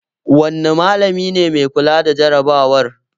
Wanne malami ne mai kula da jarabawar?